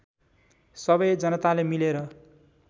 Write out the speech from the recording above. सबै जनताले मिलेर